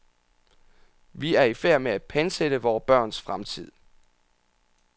Vi er ifærd med at pantsætte vore børns fremtid.